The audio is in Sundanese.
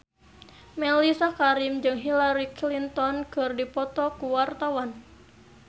Mellisa Karim jeung Hillary Clinton keur dipoto ku wartawan